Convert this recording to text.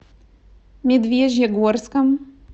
медвежьегорском